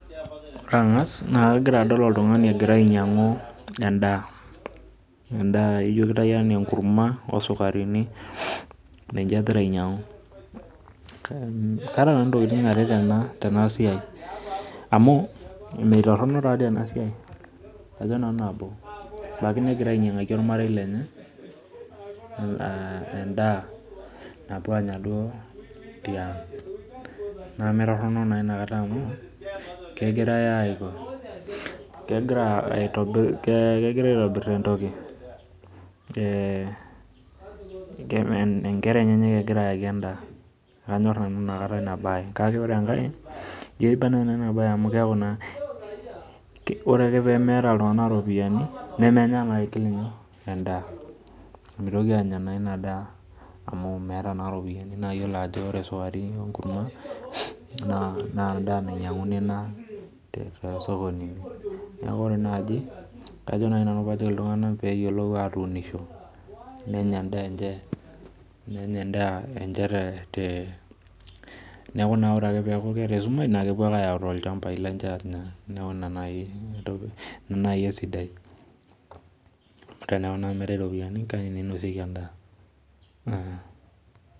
Ore angas nakangasa adol oltungani egira ainyangu endaa ino kitau ana enkurma osukarini ninche egira aitau, kaata nanu nitokitin are tenasiai amu mitoronok taatoi enasia nilo ainyangaki ormarei lenye endaa napuo Anya duo tiang namatoronok naaduo amu tegira aitobir entoki nkera enyenak egira ayaki endaa na kanyor nanu inabae kake ore engae kaiba enabae amu tenemeeta ltunganak ropiyani nemenya na aigil nyoo endaa, mitoki anya ina daa amu meeta na ropiyani na iyolo ajo na endaa nainyanguni ena toropiyani neaku ore nai kajo nai pajoki ltunganak peyiolou atimirisho nenya endaa enye neaku ore ake peaku keeta esumash nepuo ayau tolchambai lenye anya neaku ina nai esiadai teneaku na meetae iropiyiani kake ninosieki endaa.